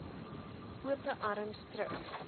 ope arms terug